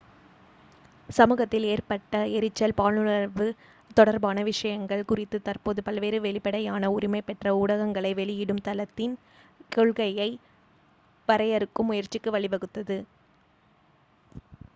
சமூகத்தில் ஏற்பட்ட எரிச்சல் பாலுணர்வு தொடர்பான விஷயங்கள் குறித்து தற்போது பல்வேறு வெளிப்படையான உரிமை பெற்ற ஊடகங்களை வெளியிடும் தளத்தின் கொள்கையை வரையறுக்கும் முயற்சிக்கு வழிவகுத்தது